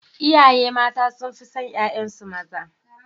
Iyaye mata sun fi son ƴaƴansu maza.